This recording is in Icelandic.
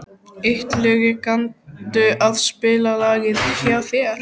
Illugi, kanntu að spila lagið „Hjá þér“?